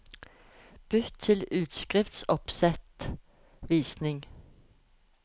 Bytt til utskriftsoppsettvisning